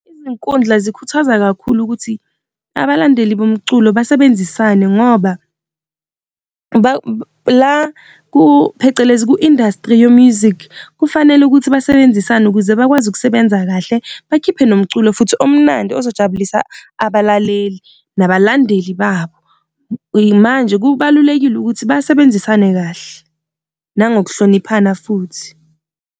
Izinkundla zikhuthazwa kakhulu ukuthi abalandeli bomculo basebenzisane ngoba la ku phecelezi ku-industry, yo-music kufanele ukuthi basebenzisana ukuze bakwazi ukusebenza kahle, bakhiphe nomculo futhi omnandi ozojabulisa abalaleli nabalandeli babo. Manje kubalulekile ukuthi basebenzisane kahle nangokuhloniphana futhi.